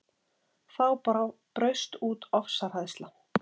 Þá braust út ofsahræðsla